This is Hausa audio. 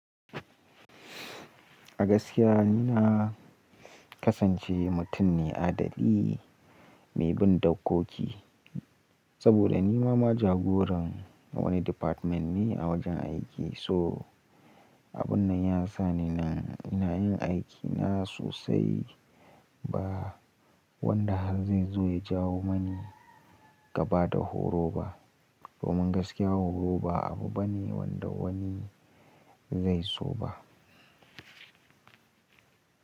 A gaskiya ni na kasance mutum ne adali mai bin dokoki, saboda ni ma ma jagoran wani department ne a wajen aiki. So abun nan ya sa ni na ina yin aiki na sosai ba wanda har zai zo ya jawo mani gaba da horo ba. Domin gaskiya horo ba abu bane wanda wani zai so ba.